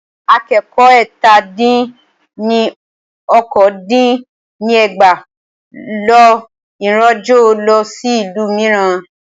Akẹ́kọ̀ọ́ ẹ́tà dín ní okòó dín ní ẹgbàá lọ ìrìnàjò lọ sí ìlú mìíràn.